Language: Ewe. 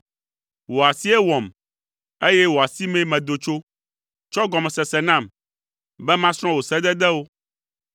Wò asie wɔm, eye wò asimee medo tso; tsɔ gɔmesese nam, be masrɔ̃ wò sededewo.